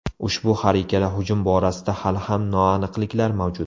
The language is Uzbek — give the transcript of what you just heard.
Ushbu har ikkala hujum borasida hali ham noaniqliklar mavjud.